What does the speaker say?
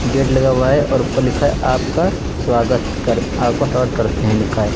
Gate लगा हुआ है और ऊपर लिखा है आपका स्वागत कर आपका स्वागत करते हैं लिखा है।